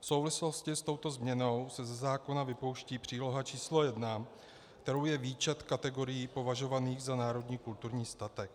V souvislosti s touto změnou se ze zákona vypouští příloha číslo 1, kterou je výčet kategorií považovaných za národní kulturní statek.